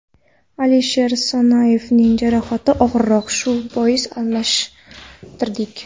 Alisher Sanoyevning jarohati og‘irroq, shu bois almashtirdik.